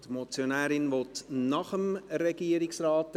Die Motionärin möchte nach dem Regierungsrat sprechen.